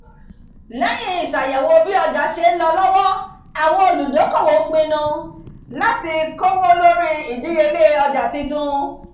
lẹ́yìn ìṣàyẹ̀wò bí ọjà ṣe ń lọ lọ́wọ́ àwọn olùdókòwò pinnu láti kówó lórí ìdíyelé ọjà titun"